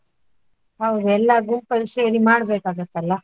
ಹೌದು ಎಲ್ಲ ಗುಂಪಲ್ಲಿ ಸೇರಿ ಮಾಡ್ಬೇಕಾಗುತ್ತಲ್ಲ?